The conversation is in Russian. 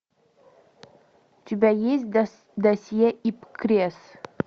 у тебя есть досье ипкресс